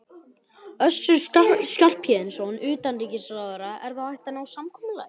Össur Skarphéðinsson, utanríkisráðherra: Er þá hægt að ná samkomulagi?